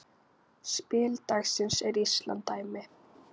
Spil dagsins er lýsandi dæmi.